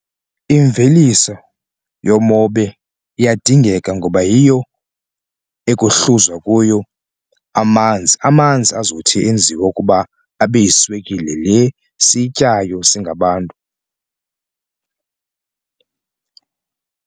Imveliso yomobe iyadingeka ngoba yiyo ekuhluzwa kuyo amanzi amanzi azothi enziwe ukuba abe yiswekile le siyityayo singabantu.